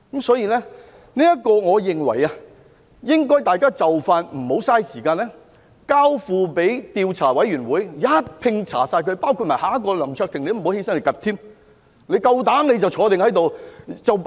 所以，我認為大家不應浪費時間，應盡快交付調查委員會，一併調查，包括下一位林卓廷議員，大家不要站起來說話，你們夠膽就坐